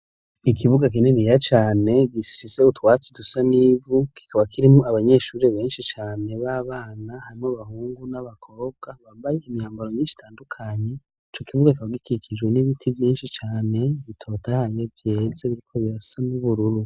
Ikibuga kininiya cane gifise utwatsi dusa n'ivu, kikaba kirimwo abanyeshure benshi cane b'abana, harimwo abahungu n'abakobwa bambaye imyambaro myinshi itandukanye, ico kibuga kikaba gikikijwe n'ibiti vyinshi cane bitotahaye vyeze biriko birasa n'ubururu.